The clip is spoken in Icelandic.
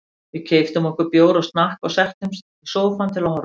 Við keyptum okkur bjór og snakk og settumst í sófann til að horfa.